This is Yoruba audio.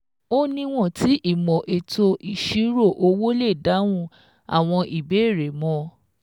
Ó niwon tí ìmò ètò ìṣirò owó lè dáhùn àwọn ìbéèrè mọ